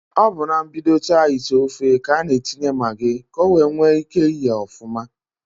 Ọ bụ na mbidota ite ofe k'a n'atinye magị k'owee nwee ike yee ọfụma.